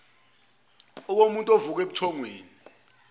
okomuntu ovuka ebuthongweni